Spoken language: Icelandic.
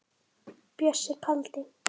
Bjössi kaldi.